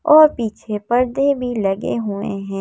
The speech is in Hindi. और पीछे परदे भी लगे हुए है।